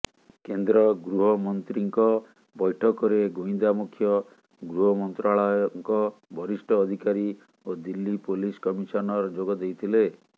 କେନ୍ଦ୍ର ଗୃହମନ୍ତ୍ରୀଙ୍କ ବୈଠକରେ ଗୁଇନ୍ଦା ମୁଖ୍ୟ ଗୃହମନ୍ତ୍ରାଳୟଙ୍କ ବରିଷ୍ଠ ଅଧିକାରୀ ଓ ଦିଲ୍ଲୀ ପୋଲିସ କମିଶନର ଯୋଗଦେଇଥିଲେ